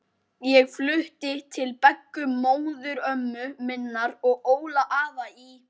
Ég flutti til Beggu móðurömmu minnar og Óla afa í